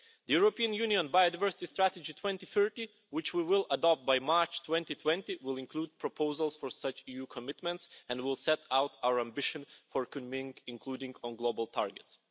The European Union Biodiversity Strategy 2030, which we will adopt by March 2020, will include proposals for such EU commitments and will set out our ambition for Kunming, including on global targets.